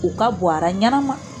U ka bon ara ɲɛnama